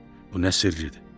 Bu nə sirdir?